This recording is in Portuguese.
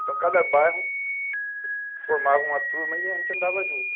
Então, cada bairro formava uma turma e a gente andava junto.